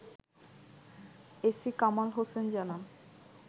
AC Kamal Hossain জানান